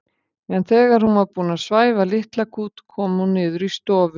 En þegar hún var búin að svæfa litla kút kom hún niður í stofu.